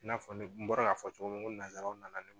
I n'a fɔ ne bɔra ka fɔ cogo min ko nanzaraw nana ne